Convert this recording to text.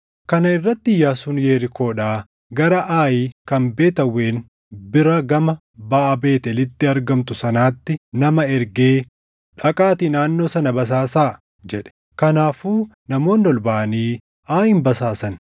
Kana irratti Iyyaasuun Yerikoodhaa gara Aayi kan Beet Aawwen bira gama baʼa Beetʼeelitti argamtu sanaatti nama ergee, “Dhaqaatii naannoo sana basaasaa” jedhe. Kanaafuu namoonni ol baʼanii Aayin basaasan.